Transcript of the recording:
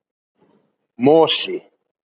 Mosi